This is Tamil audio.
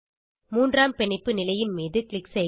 மூன்றாம் பிணைப்பு நிலையின் மீது க்ளிக் செய்க